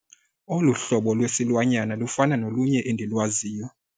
Olu hlobo lwesilwanyana lufana nolunye endilwaziyo.